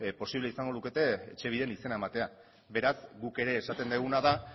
posible izango lukete etxebiden izena ematea beraz guk ere esaten duguna da